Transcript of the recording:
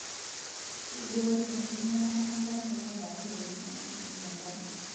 Keiboori enkinyialata enkare teneikari ntokitin naashumieki enkare.